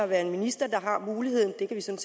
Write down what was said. være en minister der har muligheden det kan